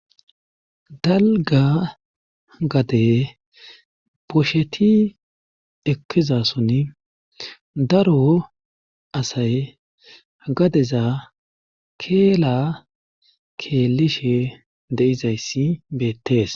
dalga gade bosheti ekkizason daro asay gadeza keela keelishe de7izayssi beettees